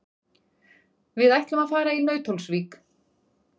Við ætlum að fara í Nauthólsvík.